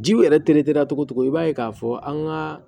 Jiw yɛrɛ togo togo i b'a ye k'a fɔ an ka